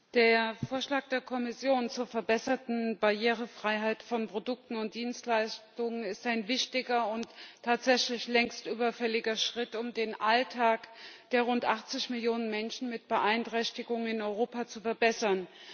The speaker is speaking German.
Frau Präsidentin! Der Vorschlag der Kommission zur verbesserten Barrierefreiheit von Produkten und Dienstleistungen ist ein wichtiger und tatsächlich längst überfälliger Schritt, um den Alltag der rund 80 Millionen Menschen mit Beeinträchtigungen in Europa zu verbessern.